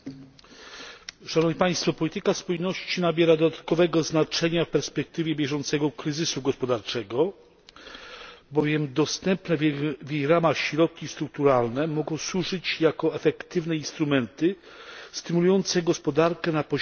Panie Przewodniczący! Polityka spójności nabiera dodatkowego znaczenia w perspektywie bieżącego kryzysu gospodarczego, bowiem dostępne w jej ramach środki strukturalne mogą służyć jako efektywne instrumenty stymulujące gospodarkę na poziomie regionalnym.